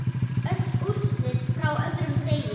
Öll úrslit frá öðrum degi